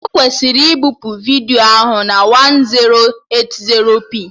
Ị kwesịrị ibipu vidiyo ahụ na 1080p